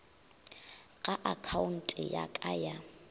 ga akhaonte ya ka ya